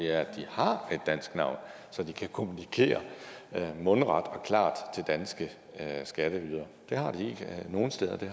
er at de har et dansk navn så de kan kommunikere mundret og klart til danske skatteydere nogle steder har de